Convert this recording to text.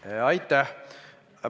Aitäh!